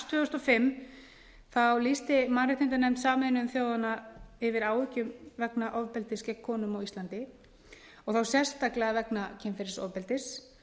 tvö þúsund og fimm lýsti mannréttindanefnd sameinuðu þjóðanna yfir áhyggjum vegna ofbeldis gegn konum á íslandi og þá sérstaklega vegna kynferðisofbeldis